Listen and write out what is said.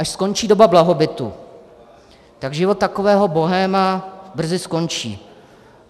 Až skončí doba blahobytu, tak život takového bohéma brzy skončí.